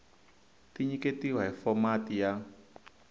ti nyiketiwa hi fomati ya